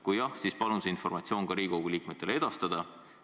Kui jah, siis palun see informatsioon ka Riigikogu liikmetele edastada.